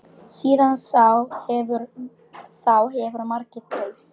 Síðan þá hefur margt breyst.